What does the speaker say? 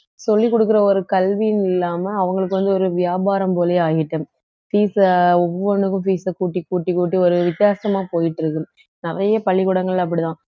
சொல்லிக் கொடுக்கிற ஒரு கல்வின்னு இல்லாம அவங்களுக்கு வந்து ஒரு வியாபாரம் போலே ஆயிட்டு fees அ ஒவ்வொன்னுக்கும் fees அ கூட்டி கூட்டி கூட்டி ஒரு வித்தியாசமா போயிட்டு இருக்குது நிறைய பள்ளிக்கூடங்கள்ல அப்படித்தான்